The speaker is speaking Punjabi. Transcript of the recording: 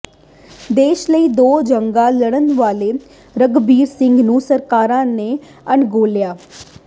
ਦੇਸ਼ ਲਈ ਦੋ ਜੰਗਾਂ ਲਡ਼ਨ ਵਾਲੇ ਰਘਬੀਰ ਸਿੰਘ ਨੂੰ ਸਰਕਾਰਾਂ ਨੇ ਅਣਗੌਲਿਆ